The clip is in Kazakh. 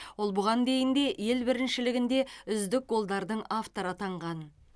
ол бұған дейін де ел біріншілігінде үздік голдардың авторы атанған